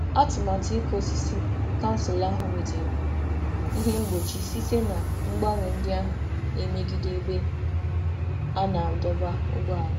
Atụmatụ ịkụ osisi kansụl ahụ nwetara ihe mgbochi site na mgbanwe ndị ahụ na-emegide ebe a na-adọba ụgbọala.